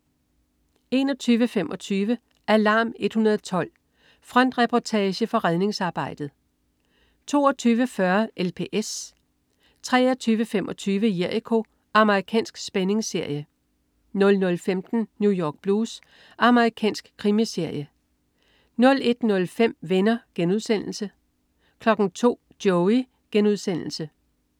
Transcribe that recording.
21.25 Alarm 112. Frontreportage fra redningsarbejdet 22.40 LPS 23.25 Jericho. Amerikansk spændingsserie 00.15 New York Blues. Amerikansk krimiserie 01.05 Venner* 02.00 Joey*